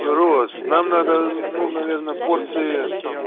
роз нам надо ну наверное порции